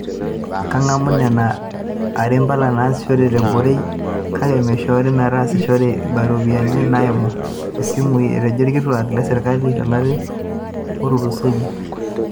Keng'amu nena are mpala naasishore te borei, kake meishori metasishore ibaa ooropiyiani naaimu isimui, etejo ilkituak le sirkali to lari otulusoyia.